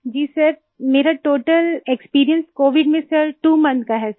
जी sir मेरा total experience Covid में sir 2 month का है सर